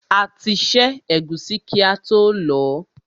A ti ṣẹ́ ẹ̀gúsí kí ató lọ̀ọ́.